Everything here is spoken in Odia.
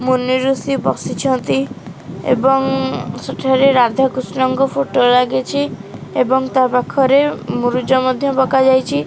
ମୁନି ଋଷି ବସିଛନ୍ତି ଏବଂ ସେଠାରେ ରାଧାକୃଷ୍ଣ ଙ୍କ ଫଟୋ ଲାଗିଛି ଏବଂ ତା ପାଖରେ ମୁରୁଜ ମଧ୍ୟ ପକା ଯାଇଚି।